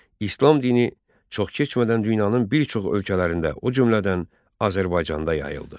İslam dini çox keçmədən dünyanın bir çox ölkələrində, o cümlədən Azərbaycanda yayıldı.